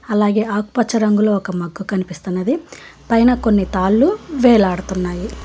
అలాగే ఆకు పచ్చ రంగులో ఒక మగ్గు కనిపిస్తున్నది పైన కొన్ని తాళ్లు వేలాడుతున్నాయి.